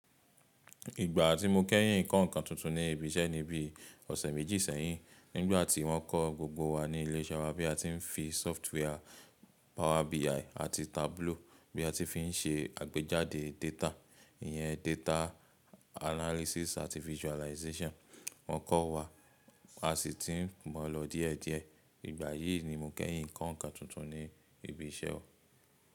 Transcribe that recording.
Ìgbà tí mo kẹ́yìn kọ̀ n ǹkan tuntun ní ibì iṣẹ́ ní bíi ọ̀sẹ̀ méjì sẹ́yìn, nígbà tí wọ́n kọ́ gbogbo wà ní ilé iṣẹ́ wà bí a ti ń fi software Power BI àti Tableau bí a tí fí ń ṣe àgbéjáde data, ìyẹn data analysis àti visualization. Wọ́n kọ́ wá, a sì ti ń mọ̀ lọ díẹ̀díẹ̀. Ìgbà yìí nì mo kẹ́yìn kọ̀ n ǹkan tuntun ní ibì iṣẹ́ wà.